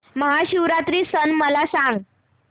महाशिवरात्री सण मला सांग